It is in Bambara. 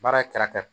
Baara ye kɛrɛfɛ